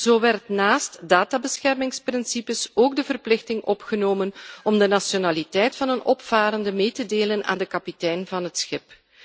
Zo werd naast gegevensbeschermingsbeginselen ook de verplichting opgenomen om de nationaliteit van een opvarende mee te delen aan de kapitein van het schip.